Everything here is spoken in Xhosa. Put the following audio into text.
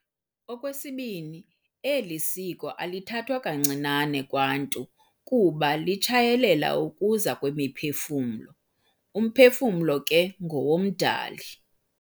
Okwesibini, eli siko alithathwa kancinane kwaNtu kuba litshayelela ukuza kwemiphefumlo. Umphefumlo ke ngowomDali.